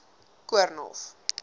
koornhof